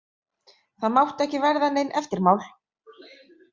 Það máttu ekki verða nein eftirmál.